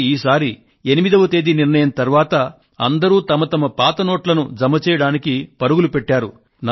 కానీ ఈసారి 8వ తేదీ నిర్ణయం తరువాత అందరూ వారి వారి తమ పాత నోట్లను జమ చేయడానికి పరుగులు పెట్టారు